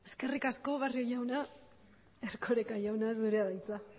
eskerrik asko barrio jauna erkoreka jauna zurea da hitza